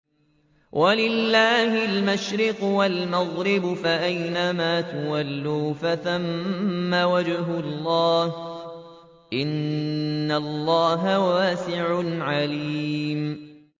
وَلِلَّهِ الْمَشْرِقُ وَالْمَغْرِبُ ۚ فَأَيْنَمَا تُوَلُّوا فَثَمَّ وَجْهُ اللَّهِ ۚ إِنَّ اللَّهَ وَاسِعٌ عَلِيمٌ